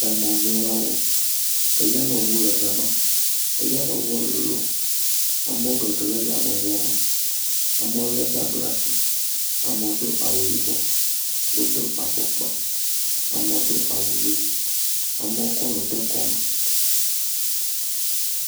Emɔzɔlawo. Eyameŋu le gama, eyameŋuɔ lolo. Amewo gege le yameŋuɔ me. Amewo lé bagi laa ashi. Amewo do awu yibɔ, wodo afɔkpa, amewo do awu ʋee, amewo kɔ nu de kɔme.